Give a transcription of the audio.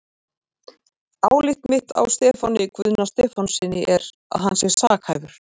Álit mitt á Stefáni Guðna Stefánssyni er, að hann sé sakhæfur.